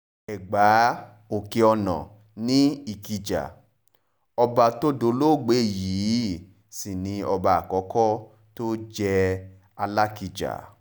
ẹgbà òkè-ọ̀nà ni ìkìjà ọba tó dolóògbé yìí sì ni ọba àkọ́kọ́ tó jẹ́ alákija